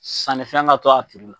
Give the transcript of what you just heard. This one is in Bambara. Sannifɛn ka to a la